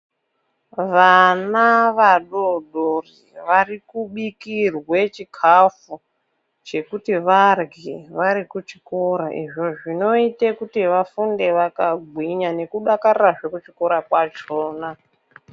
Vana vadodori vari kubikirwe chikafu chekuti varye vari kuchikora izvo zvinoite kuti vafunde vakagwinya nekudakarirazve kuchikora kwachona.